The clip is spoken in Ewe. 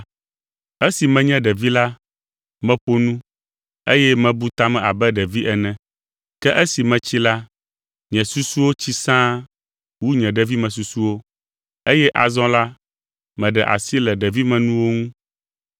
Esi menye ɖevi la, meƒo nu, eye mebu ta me abe ɖevi ene. Ke esi metsi la, nye susuwo tsi sãa wu nye ɖevimesusuwo, eye azɔ la meɖe asi le ɖevimenuwo ŋu.